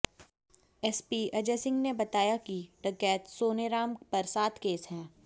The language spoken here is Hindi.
एसपी अजय सिंह ने बताया कि डकैत सोनेराम पर सात केस हैं